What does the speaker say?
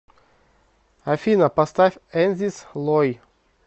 афина поставь энзис лой